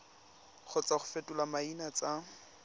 kgotsa go fetola maina tsa